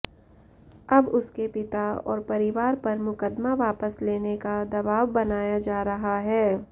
अब उसके पिता और परिवार पर मुकदमा वापस लेने का दवाब बनाया जा रहा है